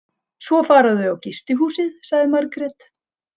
Svo fara þau á gistihúsið, sagði Margrét.